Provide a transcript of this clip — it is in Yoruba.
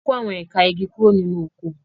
A kó àwọn ẹ̀ka igi kúrò nínú oko.